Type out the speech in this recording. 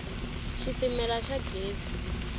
xitimela xa gezi